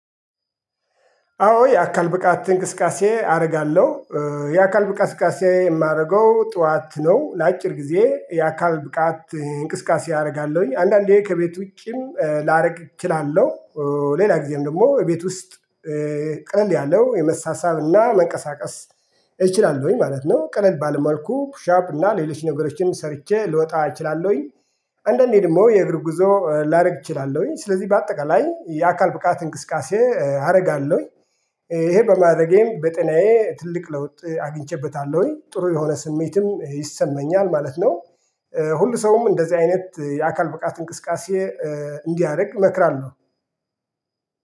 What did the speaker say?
አዎ የአካል ብቃት እንቅስቃሴ አደርጋለሁ። የአካል ብቃት እንቅስቃሴ የማደርገው ጠዋት ነው ለአጭር ጊዜ የአካል ብቃት እንቅስቃሴ አደርጋለሁኝ አንዳንዴ ከቤት ውጪም ላደርግ እችላለሁ። ሌላ ጊዜም ደግሞ ቤት ውስጥ። ቀለል ያለው የመሳሳብና መንቀሳቀስ እችላለሁኝ ማለት ነው። ቀለል ባለ መአልኩ ፑሻፕ እና ሌሎች ነገሮችንም ሰርቼ ልወጣ እችላለሁኝ። አንዳንዴ ደግሞ የእግር ጉዞ ላደርግ እችላለሁኝ ስለዚህ በአጠቃላይ የአካል ብቃት እንቅስቃሴ አደርጋለሁኝ። ይሄ በማድረጌም በጤናዬ ትልቅ ለውጥ አግኝቼበታለሁኝ ጥሩ የሆነ ስሜትም ይሰማኛል ማለት ነው። ሁሉ ሰውም እንደዚህ አይነት የአካል ብቃት እንቅስቃሴ እንዲያደርግ እመክራለሁ